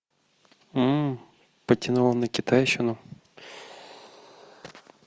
м потянуло на китайщину